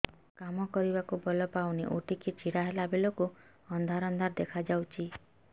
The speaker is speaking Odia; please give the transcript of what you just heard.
କାମ କରିବାକୁ ବଳ ପାଉନି ଉଠିକି ଛିଡା ହେଲା ବେଳକୁ ଅନ୍ଧାର ଅନ୍ଧାର ଦେଖା ଯାଉଛି